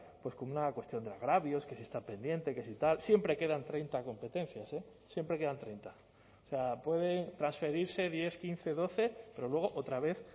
como una cuestión de agravios que si está pendiente que si tal siempre quedan treinta competencias eh siempre quedan treinta o sea pueden transferirse diez quince doce pero luego otra vez